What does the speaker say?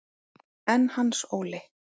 En Hans Óli?